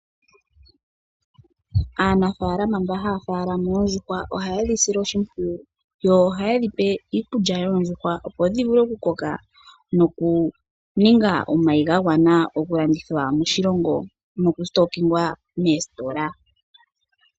Aanafaalama mboka haya munu oondjuhwa ohaye dhi sile oshimpwiyu, nokudhi pa iikulya ya nuninwa oondjuhwa, opo dhi vule okukoka nokuvala omayi ga gwana okulandithwa moositola osho wo moshilongo ashihe.